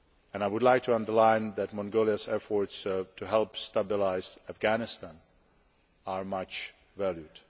I would like to underline that Mongolia's efforts to help stabilise Afghanistan are much valued.